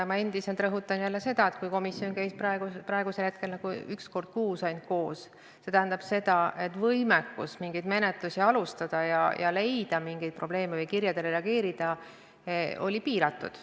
Ja ma endiselt rõhutan seda, et kui komisjon on koos käinud ainult üks kord kuus, siis see tähendab seda, et võimekus mingeid menetlusi alustada, mingeid probleeme leida või kirjadele reageerida on olnud piiratud.